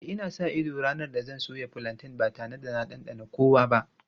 E, ina sa ido ranar da zan soya fulanten ba tare da na ɗanɗana kowa ba.